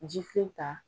Ji filen ta